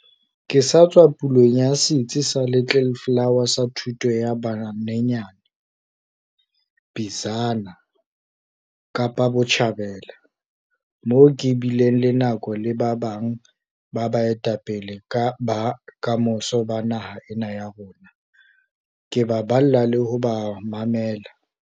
Ke sa tswa ya pulong ya setsi sa Little Flower sa thuto ya ba banyenyane, ECD, Bizana, Kapa Botjhabela, moo ke bileng le nako le ba bang ba baetapele ba kamoso ba naha ena ya rona, ke ba balla le ho ba mamela.